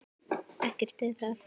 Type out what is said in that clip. Ekkert er að því.